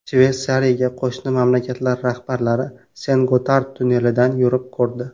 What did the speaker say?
Shveysariyaga qo‘shni mamlakatlar rahbarlari Sen-Gotard tunnelidan yurib ko‘rdi.